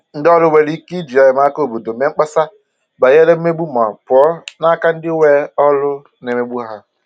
Ndị ọrụ nwere ike iji enyemaka obodo mee mkpesa banyere mmegbu ma pụọ n'aka ndị nwe ọrụ na-emegbu ha.